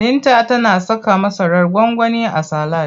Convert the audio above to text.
Binta tana saka masarar gwangwani a salad.